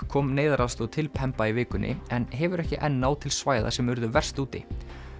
kom neyðaraðstoð til Pemba í vikunni en hefur ekki enn náð til svæða sem urðu verst úti